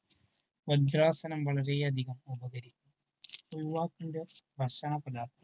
പഞ്ചാസനം വളരെ അധികം ഉപകരിക്കും. യുവാക്കളുടെ ഭക്ഷണ പദാർത്ഥങ്ങൾ